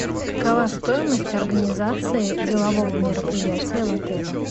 какова стоимость организации делового мероприятия в отеле